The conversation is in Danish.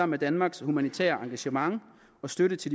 med danmarks humanitære engagement og støtte til